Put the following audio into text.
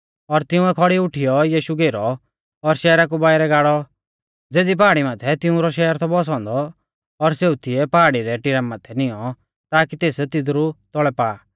और तिंउऐ खौड़ी उठीयौ यीशु घेरौ और शहरा कु बाइरै गाड़ौ ज़ेज़ी पहाड़ी माथै तिऊंरौ शहर थौ बौसौ औन्दौ और सेऊ तिऐ पहाड़ी रै टिरा माथै निऔं ताकी तेस तिदरु तौल़ै पा